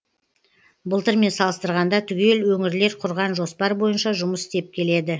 былтырмен салыстырғанда түгел өңірлер құрған жоспар бойынша жұмыс істеп келеді